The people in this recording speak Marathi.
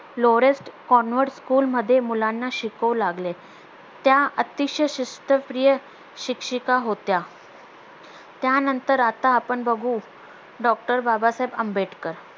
लोवरेस्ट convent school मध्ये मुलांना शिकवू लागले त्या अतिशय शिस्तप्रिय शिक्षिका होत्या त्यानंतर आता आपण बघू DOCTOR बाबासाहेब आंबेडकर